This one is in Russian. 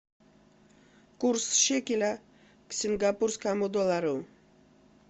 курс шекеля к сингапурскому доллару